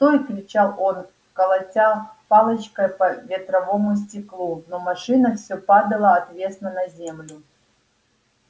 стой кричал он колотя палочкой по ветровому стеклу но машина всё падала отвесно на землю